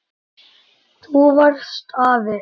Þú varst afi.